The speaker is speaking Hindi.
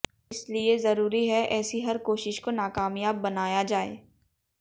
इसलिए ज़रूरी है ऐसी हर कोशिश को नाकामयाब बनाया जाये